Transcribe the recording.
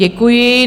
Děkuji.